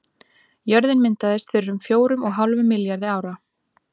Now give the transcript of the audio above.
Jörðin myndaðist fyrir um fjórum og hálfum milljarði ára.